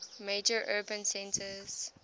major urban centers